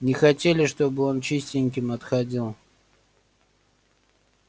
не хотели чтобы он чистеньким отходил